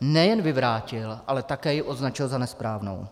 nejen vyvrátil, ale také ji označil za nesprávnou.